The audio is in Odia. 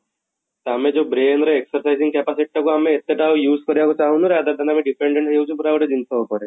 ତ ଆମେ ଜଉ brain ର exercising capacity ଟା କୁ ଆମେ ଏତେ ଟା ଆଉ use କରିବାକୁ ଚାହୁଁନୁ rather than ଆମେ dependent ହେଇଯାଉଛୁ ପୁରା ଗୋଟେ ଜିନିଷ ଉପରେ